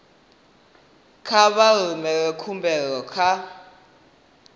kha vha rumele khumbelo kha